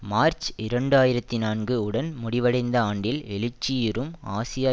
March இரண்டு ஆயிரத்தி நான்கு உடன் முடிவடைந்த ஆண்டில் எழுச்சியுறும் ஆசியா